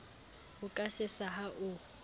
o ka sesa ha o